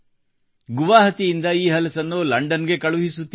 ಗುವಾಹಟಿಯಿಂದ ಈ ಹಲಸನ್ನು ಲಂಡನ್ ಗೆ ಕಳುಹಿಸುತ್ತಿದ್ದಾರೆ